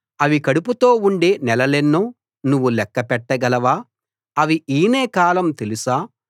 అవి కడుపుతో ఉండే నెలలెన్నో నువ్వు లెక్క పెట్టగలవా అవి ఈనే కాలం తెలుసా